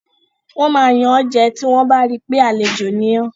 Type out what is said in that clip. Wọ́n máa yàn ọ́ jẹ tí wọ́n bá ri pé àlejò ni ọ́.